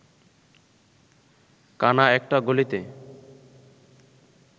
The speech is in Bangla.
কানা একটা গলিতে